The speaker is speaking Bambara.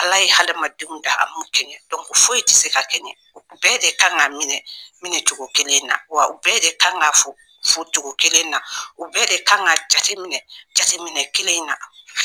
ɛAla ye hadamadenw dan a m'u kɛɲɛ foyi tɛ se ka kɛɲɛ u bɛɛ de kan ka minɛ minɛcogo kelen na wa bɛɛ de kan ka fo focogo kelen na u bɛɛ de kan ka jateminɛ jateminɛ kelen in na